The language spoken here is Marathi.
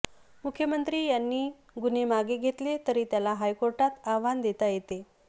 मुख्यमंत्री यांनी गुन्हे मागे घेतले तरी त्याला हायकोर्टात आव्हान देता येते